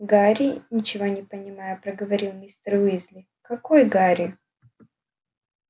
гарри ничего не понимая проговорил мистер уизли какой гарри